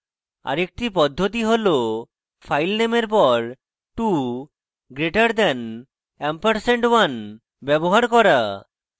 আরেকটি পদ্ধতি হল ফাইল নেমের পর 2 greater দেন ampersand 1 ব্যবহার করা